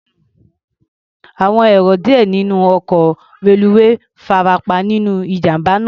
Àwọn èrò díẹ̀ nínú ọkọ̀ reluwé farapa nínú ìjàm̀bá náà.